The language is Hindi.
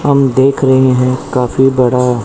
हम देख रहे हैं काफी बड़ा--